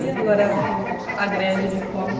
E agora com a greve de fome?